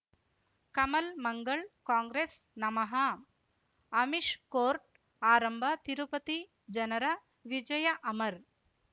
ಕಮಲ್ ಮಂಗಳ್ ಕಾಂಗ್ರೆಸ್ ನಮಃ ಅಮಿಷ್ ಕೋರ್ಟ್ ಆರಂಭ ತಿರುಪತಿ ಜನರ ವಿಜಯ ಅಮರ್